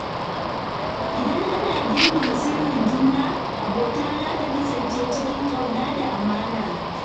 Idan ana girmama sirrin juna, abota za ta kasance cikin ƙauna da amana.